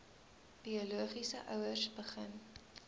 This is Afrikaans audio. biologiese ouers begin